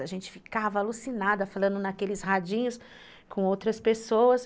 A gente ficava alucinada falando naqueles radinhos com outras pessoas.